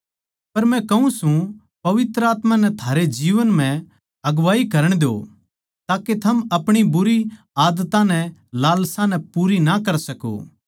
पर मै कहूँ सू पवित्र आत्मा नै थारे जीवन म्ह अगुवाई करण द्यो ताके थम अपणी बुरी आदत्तां नै लालसा नै पूरी ना कर सकों